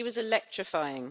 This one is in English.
She was electrifying.